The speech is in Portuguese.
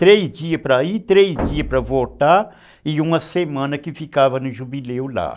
Três dias para ir, três dias para voltar e uma semana que ficava no jubileu lá.